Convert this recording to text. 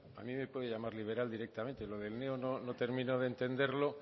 a mí me puede llamar liberal directamente lo del neo no termino de entenderlo